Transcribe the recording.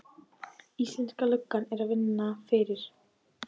Íslenska löggan er að vinna fyrir